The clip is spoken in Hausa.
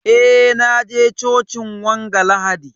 Eh, na je cocin wanga lahadi.